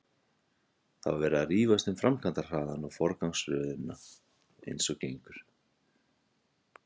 Það var verið að rífast um framkvæmdahraðann og forgangsröðina eins og gengur.